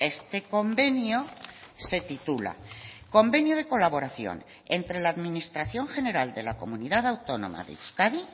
este convenio se titula convenio de colaboración entre la administración general de la comunidad autónoma de euskadi